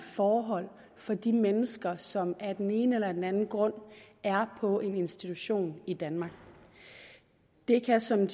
forhold for de mennesker som af den ene eller den anden grund er på en institution i danmark det kan som